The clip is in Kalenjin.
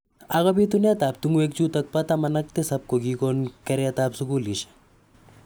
Ako pitunet ab tungwek chutok ba taman ak tisab ko kikon keret ab sukulishek.